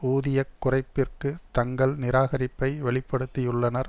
ஊதிய குறைப்பிற்கு தங்கள் நிராகரிப்பை வெளி படுத்தியுள்ளனர்